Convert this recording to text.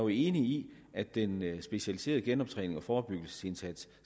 i at den specialiserede genoptræning og forebyggelsesindsats